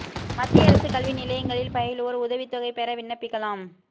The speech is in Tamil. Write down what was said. மத்திய அரசு கல்வி நிலையங்களில் பயலுவோா் உதவித் தொகை பெற விண்ணப்பிக்கலாம்